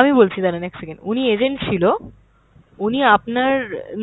আমি বলছি দাঁড়ান এক second। উনি agent ছিল, উনি আপনার,